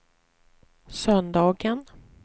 söndagen